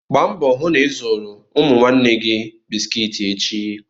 Gbaa mbọ hụ na ị zụrụ ụmụ nwanne gị bisikiiti echi!